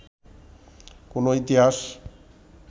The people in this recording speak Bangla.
কোনো ইতিহাস